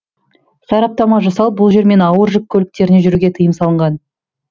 сараптама жасалып бұл жермен ауыр жүк көліктеріне жүруге тыйым салынған